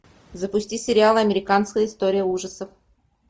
запусти сериал американская история ужасов